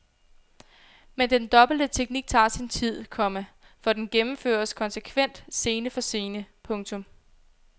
Men den dobbelte teknik tager sin tid, komma for den gennemføres konsekvent scene for scene. punktum